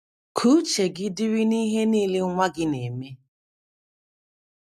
Ka uche gị dịrị n’ihe nile nwa gị na - eme.